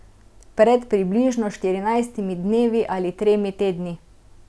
Pred približno štirinajstimi dnevi ali tremi tedni.